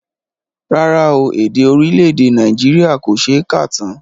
Rárá o, èdè orílẹ̀èdè Nàìjíríà kò ṣe é kà tán